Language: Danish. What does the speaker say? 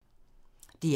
DR1